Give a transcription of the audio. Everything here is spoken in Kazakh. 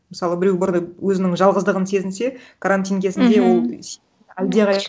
мысалы біреу бір өзінің жалғыздығын сезінсе карантин кезінде мхм ол